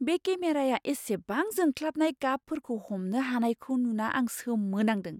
बे केमेराया इसेबां जोंख्लाबनाय गाबफोरखौ हमनो हानायखै नुना आं सोमो नांदों!